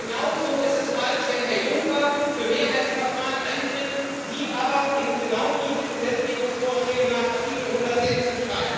Genauso ist es falsch, wenn Herr Juncker für Mehrheitsverfahren eintritt, Sie aber genau diese Gesetzgebungsvorschläge nach Artikel 116